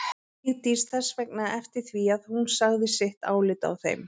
Vigdís þess vegna eftir því að hún segði sitt álit á þeim.